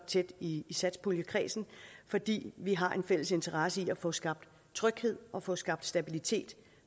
i satspuljekredsen fordi vi har en fælles interesse i at få skabt tryghed og få skabt stabilitet